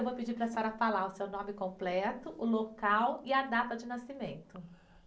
Eu vou pedir para a senhora falar o seu nome completo, o local e a data de nascimento.